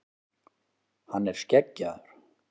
Hann er skeggjaður.